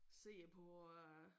Se på øh